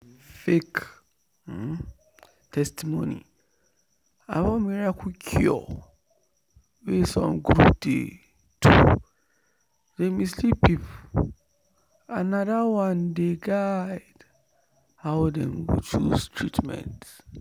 fake testimony about miracle cure wey some group dey do dey mislead people and na that one dey dey guide how dem dey choose treatment."